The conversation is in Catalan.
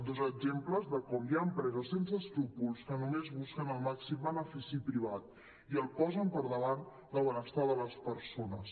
dos exemples de com hi ha empreses sense escrúpols que només busquen el màxim benefici privat i el posen per davant del benestar de les persones